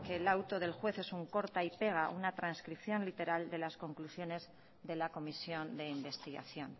que el auto del juez es un corta y pega una trascripción literal de las conclusiones de la comisión de investigación